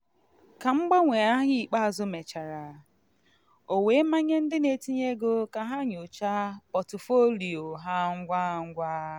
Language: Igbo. ka mgbanwe ahịa ikpeazụ mechara o were manye ndị n'etinye ego ka ha nyochaa pọtụfoliyo ha ngwa ngwa.